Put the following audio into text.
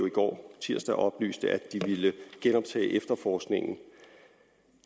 i går tirsdag oplyste at de ville genoptage efterforskningen